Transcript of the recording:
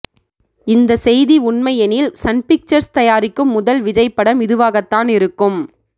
இந்த செய்தி உண்மையெனில் சன்பிக்சர்ஸ் தயாரிக்கும் முதல் விஜய் படம் இதுவாகத்தான் இருக்கும்